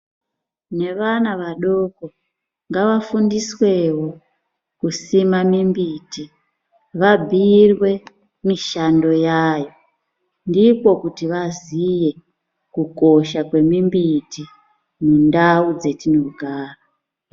Nevana vadoko, ngavafundiswewo kusimwa mimbiti, vabhiirwe mishando yayo. Ndikwo kuti vaziye ,kukosha kwemimbiti mundau dzetinogara.